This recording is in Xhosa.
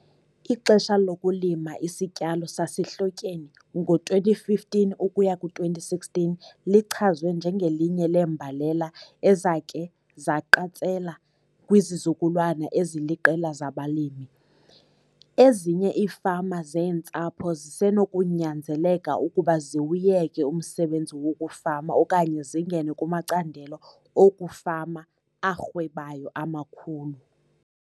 Ixesha lokulima isityalo sasehlotyeni ngo-2015 ukuya ku-2016 lichazwe njengelinye leembalela ezakhe zaqatsela kwizizukulwana eziliqela zabalimi. Ezinye iifama zeentsapho zisenokunyanzeleka ukuba ziwuyeke umsebenzi wokufama okanye zingene kumacandelo okufama arhwebayo amakhulu.